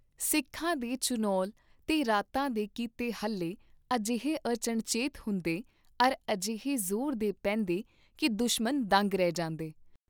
ਸਿੱਖਾਂ ਦੇ ਚੁਣੌਲ ਤੇ ਰਾਤਾਂ ਦੇ ਕੀਤੇ ਹੱਲੇ ਅਜੇਹੇ ਅਚਣਚੇਤ ਹੁੰਦੇ ਅਰ ਅਜੇਹੇ ਜ਼ੋਰ ਦੇ ਪੇਂਦੇ ਕੀ ਦੁਸ਼ਮਨ ਦੰਗ ਰਹਿ ਜਾਂਦੇ ।